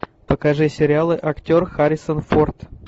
покажи сериалы актер харрисон форд